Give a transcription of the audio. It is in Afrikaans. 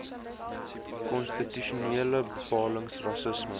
konstitusionele bepalings rassisme